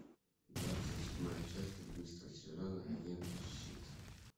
двадцать седьмая часть одиннадцатого сезона агенты щит